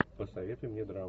посоветуй мне драму